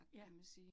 Ja